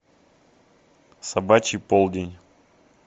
собачий полдень